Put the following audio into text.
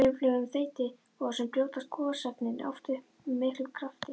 Í öflugum þeytigosum brjótast gosefnin oft upp með miklum krafti.